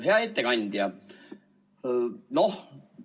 Hea ettekandja!